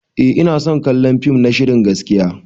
Eh ina son kallon fim na shirin gaskiya.